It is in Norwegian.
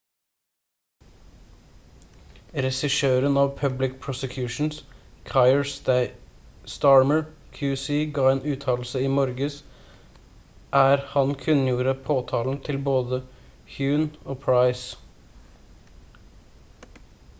regissøren av public prosecutions kier starmer qc ga en uttalelse i morges er han kunngjorde påtalen til både huhne og pryce